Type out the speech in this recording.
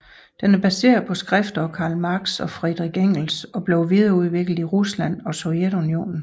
Den er baseret på skrifter af Karl Marx og Friedrich Engels og blev videreudviklet i Rusland og Sovjetunionen